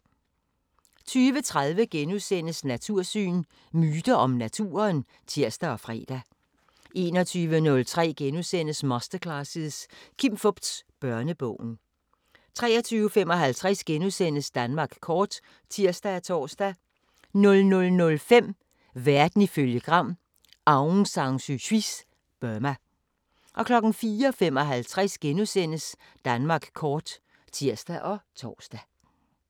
20:30: Natursyn: Myter om naturen *(tir og fre) 21:03: Masterclasses – Kim Fupz: Børnebogen * 23:55: Danmark kort *(tir og tor) 00:05: Verden ifølge Gram: Aung San Su Kyis Burma 04:55: Danmark kort *(tir og tor)